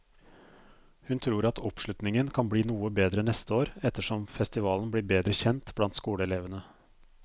Hun tror at oppslutningen kan bli noe bedre neste år, etter som festivalen blir bedre kjent blant skoleelevene.